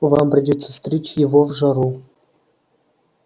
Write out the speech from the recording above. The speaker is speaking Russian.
вам придётся стричь его в жару